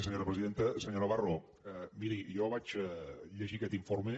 senyor navarro miri jo vaig llegir aquest informe